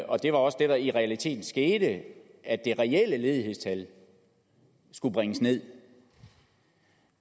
og det var også det der i realiteten skete at det reelle ledighedstal skulle bringes nederst